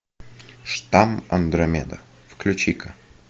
штамм андромеда включи ка